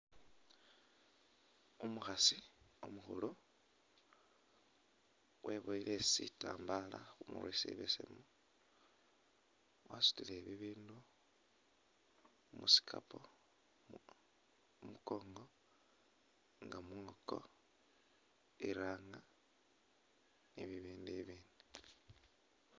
Umukhasi umukhulu weboyile sitambaala khu murwe sibesemu, wasutile bibindu mu sikapu khu mukongo nga mwoko, iranga ni bibindu ibindi.